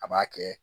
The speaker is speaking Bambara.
A b'a kɛ